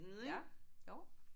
Ja jo